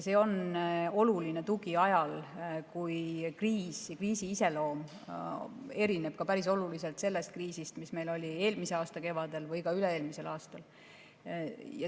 See on oluline tugi ajal, kui kriis ja kriisi iseloom erineb päris oluliselt sellest kriisist, mis meil oli eelmise aasta kevadel või ka üle-eelmisel aastal.